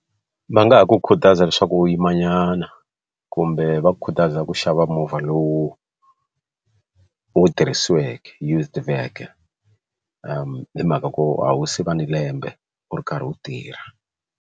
Va nga ha ku khutaza leswaku u yimanyana kumbe va khutaza ku xava movha lowu wu tirhisiweke used vehicle hi mhaka ku a wu se va ni lembe u ri karhi u tirha.